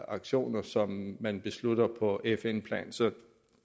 aktioner som man beslutter på fn plan så